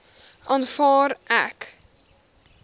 aanvaar ek